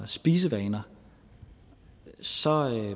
spisevaner så